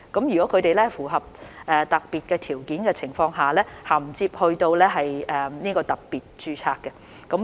如果他們符合特定的條件，可銜接到特別註冊。